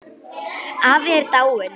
Afi er dáinn.